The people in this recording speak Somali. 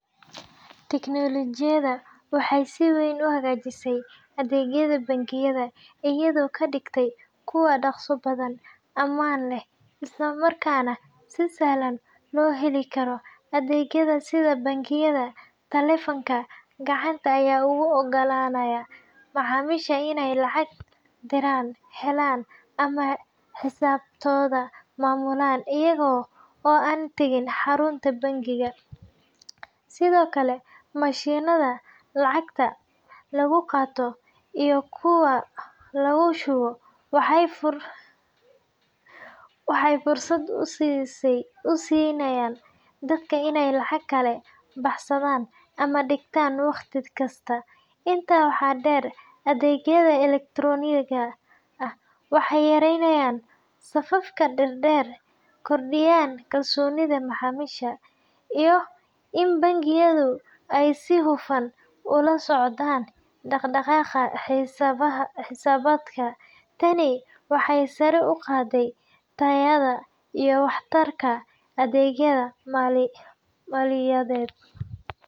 Tignolojiyadu waxay si weyn u hagaajisay adeegyada bangiyada iyadoo ka dhigtay kuwo dhaqso badan, ammaan leh, isla markaana si sahlan loo heli karo. Adeegyada sida bangiyada taleefanka gacanta ayaa u oggolaanaya macaamiisha inay lacag diraan, helaan, ama xisaabtooda maamulaan iyaga oo aan tagin xarunta bangiga. Sidoo kale, mashiinnada lacagta lagu qaato iyo kuwa lagu shubo waxay fursad u siiyeen dadka inay lacag kala baxaan ama dhigtaan wakhti kasta. Intaa waxaa dheer, adeegyada elektarooniga ah waxay yareeyeen safafka dhaadheer, kordhiyeen kalsoonida macaamiisha, iyo in bangiyadu ay si hufan u la socdaan dhaqdhaqaaqa xisaabaadka. Tani waxay sare u qaaday tayada iyo waxtarka adeegyada maaliyadeed.